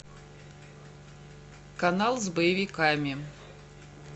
канал с боевиками